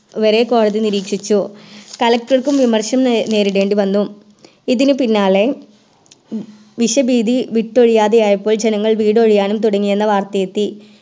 വരെ കോടതി നിരീക്ഷിച്ചു കളക്റ്റർക്കും വിമർശനം നേരിടേണ്ടി വന്നു ഇതിനു പിന്നാലെ വിഷ ഭീതി വിട്ടൊഴിയാതെയായപ്പോൾ ജനങ്ങൾ വീടൊഴിയാനും തുടങ്ങിയെന്ന വർത്തയെത്തി